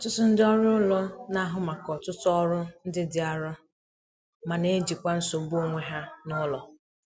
Ọtụtụ ndị ọrụ ụlọ na-ahụ maka ọtụtụ ọrụ ndị dị arọ ma na- ejikwa nsogbu onwe ha n'ụlọ.